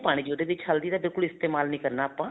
ਨਹੀਂ ਪਾਣੀ ਉਹਦੇ ਵਿੱਚ ਹਲਦੀ ਦਾ ਬਿਲਕੁਲ ਇਸਤੇਮਾਲ ਨਹੀਂ ਕਰਨਾ ਆਪਾਂ